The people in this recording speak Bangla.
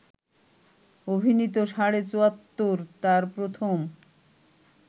অভিনীত ‘সাড়ে চুয়াত্তর’ তার প্রথম